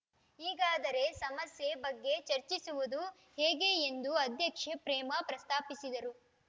ಈಗಾದರೆ ಸಮಸ್ಯೆ ಬಗ್ಗೆ ಚರ್ಚಿಸುವುದು ಹೇಗೆ ಎಂದು ಅಧ್ಯಕ್ಷೆ ಪ್ರೇಮಾ ಪ್ರಸ್ತಾಪಿಸಿದರು